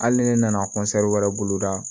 Hali ne nana kɔnsɛri wɛrɛ bolo da